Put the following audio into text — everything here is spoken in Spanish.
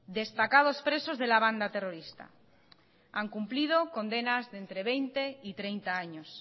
destacados presos de la banda terrorista han cumplido condenas de entre veinte y treinta años